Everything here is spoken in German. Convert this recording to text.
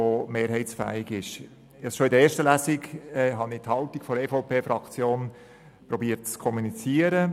Ich habe schon in der ersten Lesung versucht, die Haltung der EVP-Fraktion zu kommunizieren.